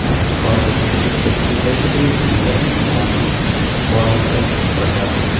यहां एक और छोटी सी बच्ची दिखाई पड़ रही है एक महिला हैं उसके हाथ मे एक बाल दिखाई पड़ रहा हैं।